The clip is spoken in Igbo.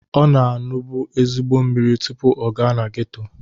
Ọ na-aṅụbu ezigbo mmiri tụpụ ọ gaa na geto